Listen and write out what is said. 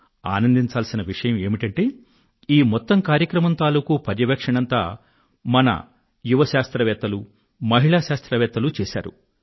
ఆనందించాల్సిన విషయం ఏమిటంటే ఈ మొత్తం కార్యక్రమం తాలూకూ పర్యవేక్షణంతా మన యువ శాస్త్రవేత్తలు మహిళా శాస్త్రవేత్తలూ చేశారు